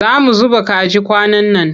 Za mu zuba kaji kwanan nan.